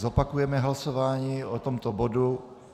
Zopakujeme hlasování o tomto bodu.